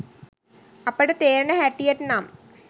අපට තේරෙන හැටියට නම්